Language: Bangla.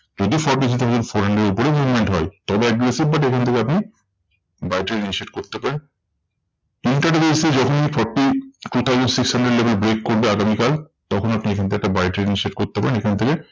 যদি four hundred এর উপরে movement হয় তবে aggressive but এখান থেকে আপনি buy trade initiate করতে পারেন। intraday তে যখনি forty three thousand six hundred level break করবে আগামীকাল, তখন আপনি এখান থেকে একটা buy trade initiate করতে পারেন এখান থেকে।